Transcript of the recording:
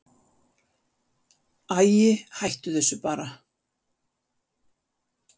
Æi, hættu þessu bara.